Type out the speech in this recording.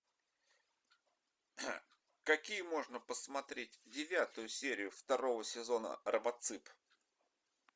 какие можно посмотреть девятую серию второго сезона робоцып